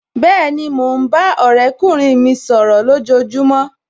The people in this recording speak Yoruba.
Bẹ́ẹ̀ni, mo ń bá ọ̀rẹ́kùnrin mi sọ̀rọ̀ lojojumo